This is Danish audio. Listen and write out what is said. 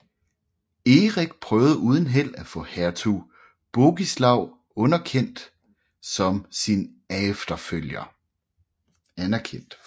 Erik prøvede uden held at få hertug Bogislaw anerkendt som sin efterfølger